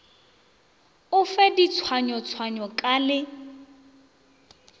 o fe ditshwayotshwayo ka le